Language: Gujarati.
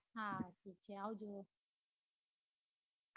હા ઠીક છે આવજો